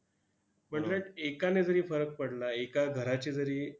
पण उलट एकाने जरी फरक पडला, एका घराचे जरी